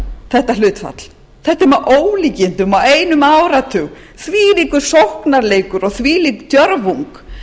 þetta hlutfall þetta er með ólíkindum á einum áratug þvílíkur sóknarleikur og þvílík djörfung